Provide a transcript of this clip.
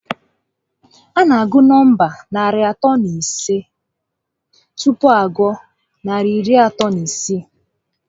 A na agụ nọmba narị atọ na ise tupu a gụọ narị iri atọ na isii